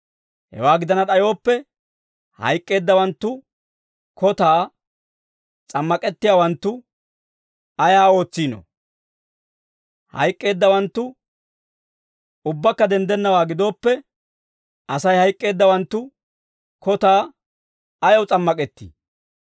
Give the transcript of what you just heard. Hewaa gidana d'ayooppe, hayk'k'eeddawanttu kotaa s'ammak'ettiyaawanttu ayaa ootsiinoo? Hayk'k'eeddawanttu ubbakka denddennawaa gidooppe, Asay hayk'k'eeddawanttu kotaa ayaw s'ammak'ettii?